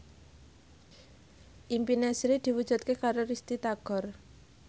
impine Sri diwujudke karo Risty Tagor